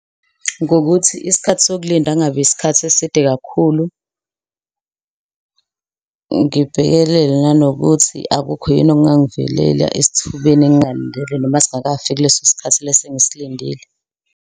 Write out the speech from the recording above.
Ngokuthi isikhathi sokulinda kungabi isikhathi eside kakhulu. Ngibhekelele nanokuthi akukho yini okungangivelela esithubeni ngingalindele noma singakafiki leso sikhathi leso engisilindile.